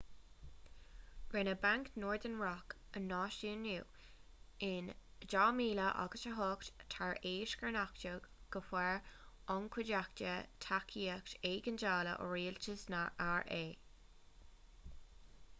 rinneadh banc northern rock a náisiúnú in 2008 tar éis gur nochtadh go bhfuair an chuideachta tacaíocht éigeandála ó rialtas na ra